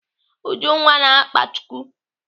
Ujunwa na-akpa chuku.